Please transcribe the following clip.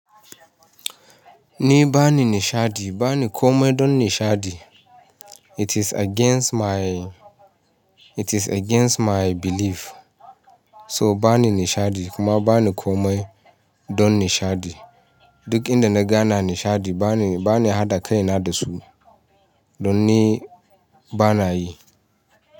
Ni bani nishaɗi, bani komai don nishaɗi. It is against my, it is against my belief. So bani nishaɗi kuma bani komai don nishaɗi. Duk inda naga ana nishaɗi bani, bani haɗa kaina da su. Don ni ba na yi.